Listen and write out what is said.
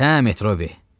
Hə, Metrobi.